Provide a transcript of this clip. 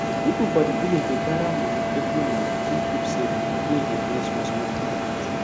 people for the village dey gather money every month do group savings wey dey bring small small profit